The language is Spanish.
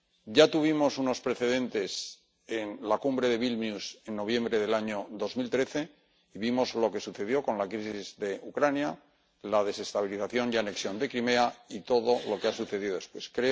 Ya tuvimos unos precedentes en la Cumbre de Vilnius en noviembre del año 2013. Vimos lo que sucedió con la crisis de Ucrania, la desestabilización y anexión de Crimea y todo lo que ha sucedido después.